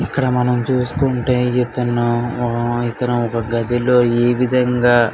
ఇక్కడ మనం చూసుకుంటే ఇక్కడ ఒక ఇతను ఒక గదిలో ఏే విదంగా --